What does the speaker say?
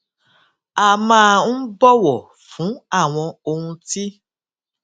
a máa ń bòwò fún àwọn ohun tí